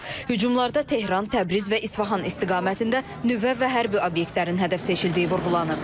Hücumlarda Tehran, Təbriz və İsfahan istiqamətində nüvə və hərbi obyektlərin hədəf seçildiyi vurğulanıb.